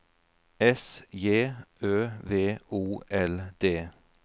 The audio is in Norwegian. S J Ø V O L D